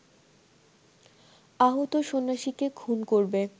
আহত সন্ন্যাসীকে খুন করবে